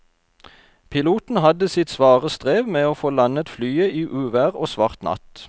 Piloten hadde sitt svare strev med å få landet flyet i uvær og svart natt.